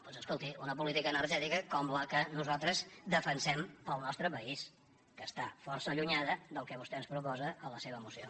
bé doncs escolti una política energètica com la que nosaltres defensem per al nostre país que està força allunyada del que vostè ens proposa a la seva moció